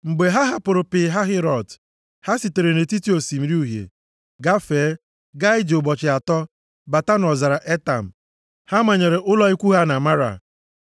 Mgbe ha hapụrụ Pi Hahirot, ha sitere nʼetiti Osimiri Uhie gafee gaa ije ụbọchị atọ bata nʼọzara Etam. Ha manyere ụlọ ikwu ha na Mara.